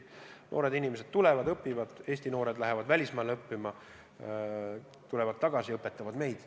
Noored inimesed tulevad siia õppima, Eesti noored lähevad välismaale õppima, tulevad tagasi ja õpetavad meid.